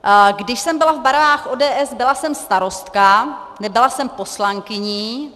Když jsem byla v barvách ODS, byla jsem starostka, nebyla jsem poslankyní.